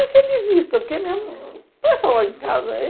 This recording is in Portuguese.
Eu conhecia de vista, porque mesmo... Pensa lá em casa.